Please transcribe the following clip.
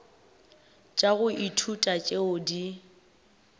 tša go ithuta tšeo di